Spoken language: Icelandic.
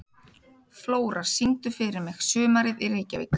Flóra, syngdu fyrir mig „Sumarið í Reykjavík“.